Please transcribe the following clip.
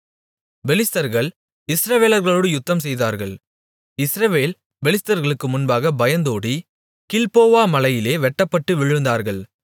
பெலிஸ்தர்கள் இஸ்ரவேலர்களோடு யுத்தம் செய்தார்கள் இஸ்ரவேல் பெலிஸ்தர்களுக்கு முன்பாக பயந்தோடி கில்போவா மலையிலே வெட்டப்பட்டு விழுந்தார்கள்